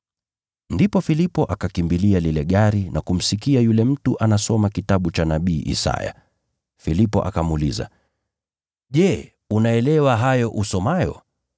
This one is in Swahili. Ndipo Filipo akakimbilia lile gari na kumsikia yule mtu anasoma kitabu cha nabii Isaya. Filipo akamuuliza, “Je, unaelewa hayo usomayo?”